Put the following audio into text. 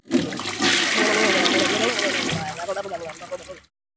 Hemmi býður nýju gestunum sæti hjá stelpunum.